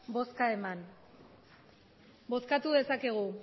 bozkarik eman bozkatu dezakegu